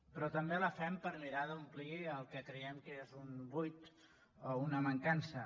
però també la fem per mirar d’omplir el que creiem que és un buit o una mancança